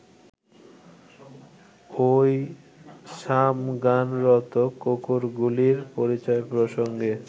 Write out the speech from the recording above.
ওই সামগানরত কুকুরগুলির পরিচয়-প্রসঙ্গে